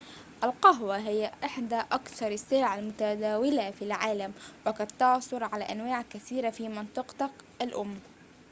القهوة هي إحدى أكثر السلع المتداولة في العالم وقد تعثر على أنواع كثيرة في منطقتك الأم